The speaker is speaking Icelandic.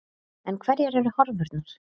En hverjar eru horfurnar?